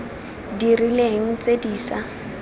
di rileng tse di sa